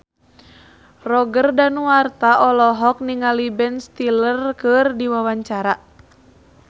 Roger Danuarta olohok ningali Ben Stiller keur diwawancara